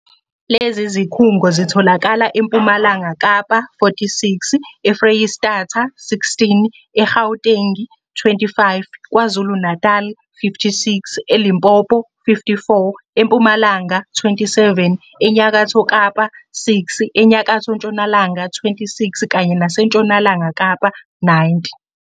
Lezi zikhungo zitholakala eMpumalanga Kapa, 46, eFreyistata, 16, e-Gauteng, 25, KwaZulu-Natali, 56, e-Limpopo, 54, eMpumalanga, 27, eNyakatho Kapa, 6, eNyakatho Ntshonalanga, 26, kanye naseNtshonalanga Kapa, 90.